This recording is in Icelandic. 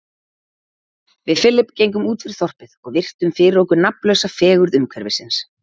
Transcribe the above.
Við Philip gengum útfyrir þorpið og virtum fyrir okkur nafnlausa fegurð umhverfisins.